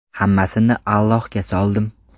Hammasini Allohga soldim.